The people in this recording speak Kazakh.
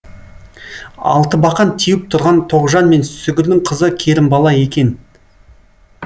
алтыбақан теуіп тұрған тоғжан мен сүгірдің қызы керімбала екен